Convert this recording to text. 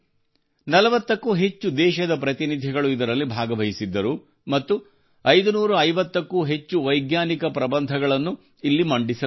40ಕ್ಕೂ ಹೆಚ್ಚು ದೇಶಗಳ ಪ್ರತಿನಿಧಿಗಳು ಇದರಲ್ಲಿ ಭಾಗವಹಿಸಿದ್ದರು ಮತ್ತು 550ಕ್ಕೂ ಹೆಚ್ಚು ವೈಜ್ಞಾನಿಕ ಪ್ರಬಂಧಗಳನ್ನು ಇಲ್ಲಿ ಮಂಡಿಸಲಾಯಿತು